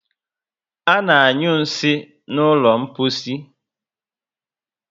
Ana anyu nsị n'ụlọ mposi